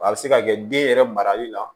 A bɛ se ka kɛ den yɛrɛ marali la